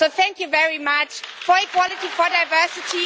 So thank you very much for equality and for diversity.